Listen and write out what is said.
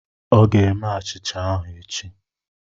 Ọ ga-eme achịcha ahụ echi.